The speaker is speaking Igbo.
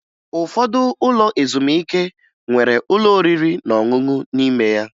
Ụfọdụ ụlọ ezumike nwere ụlọ oriri na ọṅụṅụ n'ime ya